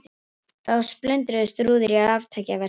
Þá splundruðust rúður í raftækjaverslun